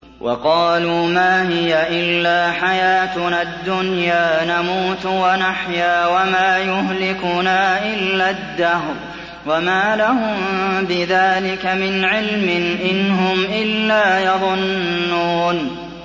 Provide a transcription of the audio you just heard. وَقَالُوا مَا هِيَ إِلَّا حَيَاتُنَا الدُّنْيَا نَمُوتُ وَنَحْيَا وَمَا يُهْلِكُنَا إِلَّا الدَّهْرُ ۚ وَمَا لَهُم بِذَٰلِكَ مِنْ عِلْمٍ ۖ إِنْ هُمْ إِلَّا يَظُنُّونَ